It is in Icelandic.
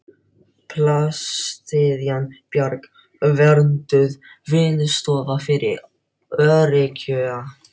Plastiðjan Bjarg, vernduð vinnustofa fyrir öryrkja.